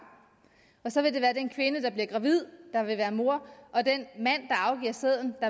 og så vil det være den kvinde der bliver gravid der vil være mor og den mand der afgiver sæden